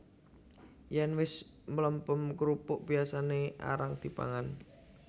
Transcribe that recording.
Yèn wis mlempem krupuk biyasané arang dipangan